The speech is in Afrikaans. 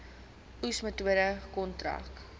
oes metode kontrak